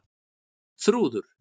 Þrúður